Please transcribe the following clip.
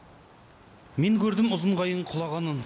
мен көрдім ұзын қайың құлағанын